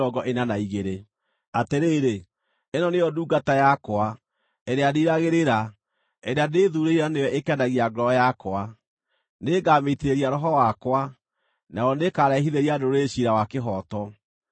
“Atĩrĩrĩ, ĩno nĩyo ndungata yakwa, ĩrĩa ndiiragĩrĩra, ĩrĩa ndĩthuurĩire na nĩyo ĩkenagia ngoro yakwa; nĩngamĩitĩrĩria Roho wakwa nayo nĩĩkarehithĩria ndũrĩrĩ ciira wa kĩhooto.